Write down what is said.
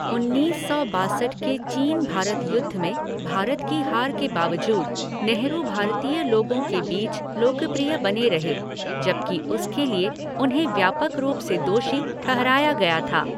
उन्नीस सौ बासठ के चीन भारत युद्ध में भारत की हार के बावजूद नेहरू भारतीय लोगों के बीच लोकप्रिय बने रहे, जबकि उसके लिए उन्हें व्यापक रूप से दोषी ठहराया गया था।